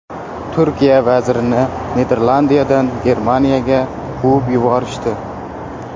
Turkiya vazirini Niderlandiyadan Germaniyaga quvib yuborishdi.